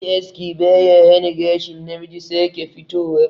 Yin aski ba ya hana gashin namiji sake fitowa